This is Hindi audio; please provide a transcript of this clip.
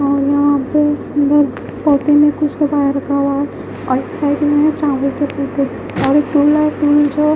यहाँ पे --